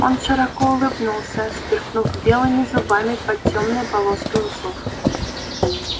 он широко улыбнулся сверкнув белыми зубами под тёмной полоской усов